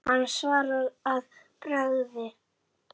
Hann svaraði að bragði.